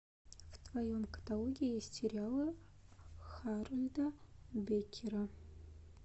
в твоем каталоге есть сериалы харольда беккера